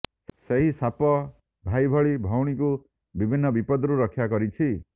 ସେହି ସାପ ଭାଇ ଭଳି ଭଉଣୀକୁ ବିଭିନ୍ନ ବିପତ୍ତିରୁ ରକ୍ଷା କରିଛି